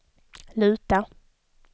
luta